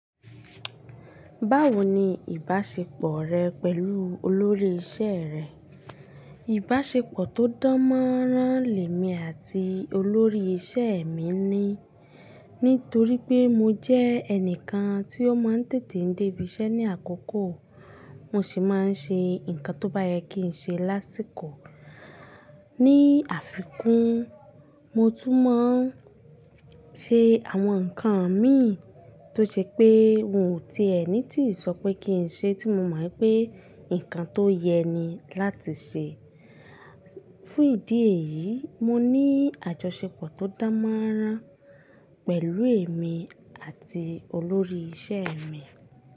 Báwo ni ìbáṣepọ̀ rẹ pẹ̀lú olórí iṣẹ́ rẹ? Ìbáṣepọ̀ tó dán mọ́rán lèmi àti olórí iṣẹ́ mi ni, nítorí pé mo jẹ́ ẹnìkan tí ó máa ń tètè dé ibi iṣẹ́ ní àkókò, mo sì máa ń ṣe nǹkan tó bá yẹ kí n ṣe lásìkò. Ni àfikún, mo tún mọ̀ ń ṣe àwọn nǹkan mi tó ṣe pé n ò tí ẹni tí sọ pé kí n ṣe tí mo mọ̀ pé nǹkan tó yẹ ni láti ṣe. Fún ìdí èyí, mo ní àjọṣepọ̀ tó dán mọ́rán pẹ̀lú èmi àti olórí iṣẹ́ mi.